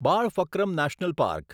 બાળફક્રમ national park